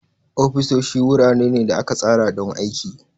Ofisoshi wurare ne da aka tsara don aiki.